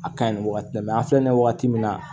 A ka ɲi wagati la an filɛ nin ye wagati min na